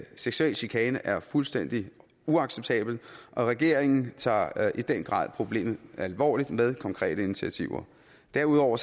seksuel chikane er fuldstændig uacceptabelt og regeringen tager i den grad problemet alvorligt med konkrete initiativer derudover